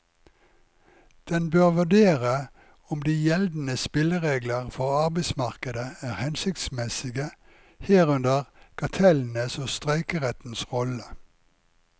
Den bør vurdere om de gjeldende spilleregler for arbeidsmarkedet er hensiktsmessige, herunder kartellenes og streikerettens rolle.